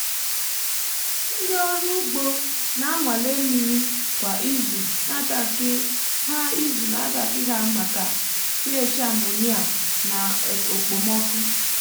ndị ọrụ ugbo na-anwale mmiri um kwa izu n’atankị ha izu n’atankị ha maka um ph ammonia na okpomọkụ.